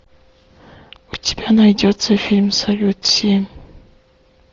у тебя найдется фильм салют семь